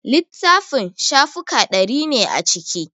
Littafin shafuka ɗari ne a ciki